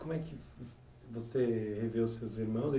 Como é que, você revê os seus irmãos?